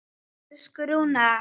Elsku Rúna.